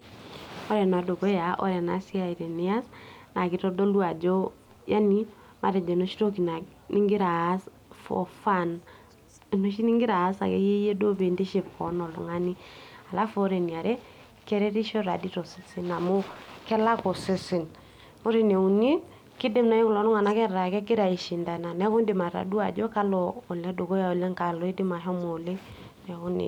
ore enedukuya ore ena siai tenias naa kitodolu ajo yani matejo enoshi toki ningira aas for fun enoshi ningira aas akeyie iyie duo piintiship koon oltung'ani alafu ore eniare keretisho tadi tosesen amu kelak osesen ore ene uni kidim naaji kulo tung'anak ataa kegira aishindana neeku indim atadua ajo kalo oledukuyaoleng kalo loidim ahomo oleng neeku nejia.